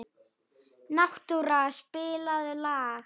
Náttúra, spilaðu lag.